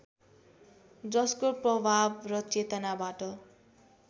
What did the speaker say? जसको प्रभाव र चेतनाबाट